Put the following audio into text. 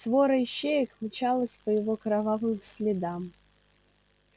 свора ищеек мчалась по его кровавым следам